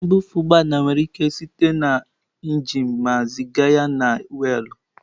Mbufe ụgbọ ala na-ewe ike site na injin ma ziga ya na weelụ.